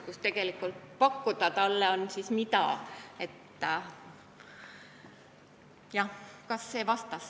Kas see vastas teie küsimusele?